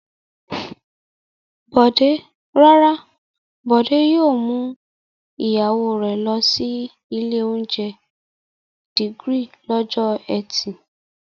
Rárá, Bọ̀dé yóò mú ìyàwó rẹ̀ lọ sí ilé-oúnjẹ The Grid lọ́jọ́ ẹtì.